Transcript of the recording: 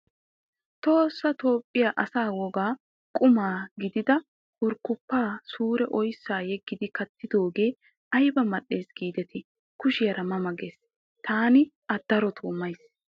Tohossa toophphiya asa wogaa quma gidida kurkkuppa suure oyissa yeggidi kattidoogee ayiba mal''es giideti kushiyaara ma ma ges. Taani A daroto mayis.